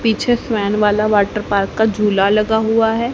पीछे स्वयन वाला वाटर पार्क वाला झूला लगा हुआ है।